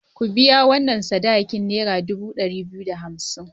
Ku biya sadakin nera dubu ɗari biyu da hamsn!